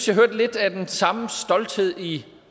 jeg hørte lidt af den samme stolthed i